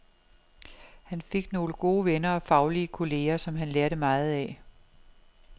Han fik nogle gode venner og faglige kolleger, som han lærte meget af.